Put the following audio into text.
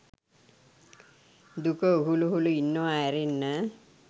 දුක උහුල උහුල ඉන්නවා ඇරෙන්න